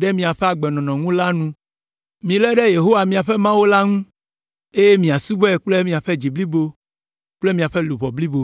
ɖe miaƒe agbenɔnɔ ŋu la nu. Milé ɖe Yehowa miaƒe Mawu ŋu, eye miasubɔe kple miaƒe dzi blibo kple miaƒe luʋɔ blibo.”